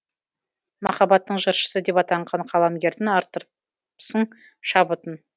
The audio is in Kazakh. махаббаттың жыршысы деп атанған қаламгердің арттырыпсың шабытын